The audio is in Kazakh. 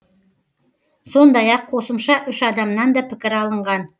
сондай ақ қосымша үш адамнан да пікір алынған